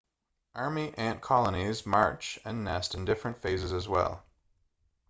army ant colonies march and nest in different phases as well